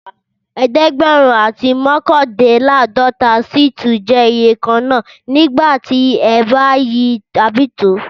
Ẹẹdegbẹrun ati mokandinlaadota sì tún jẹ iye kan na nigbati e ba yíi tàbí to.